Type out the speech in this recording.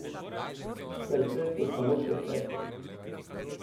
Sir Fred je samo še Fred.